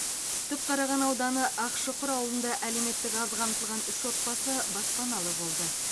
түпқараған ауданы ақшұқыр ауылында әлеуметтік аз қамтылған үш отбасы баспаналы болды